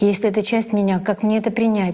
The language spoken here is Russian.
если это часть меня как мне это принять